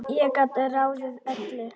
Ég gat ráðið öllu.